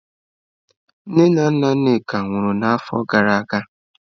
Nne na nna Nneka nwụrụ n'afọ gara aga.